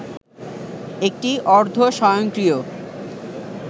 একটি অর্ধস্বয়ংক্রিয়